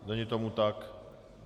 Není tomu tak?